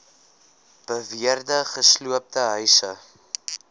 beweerde gesloopte huise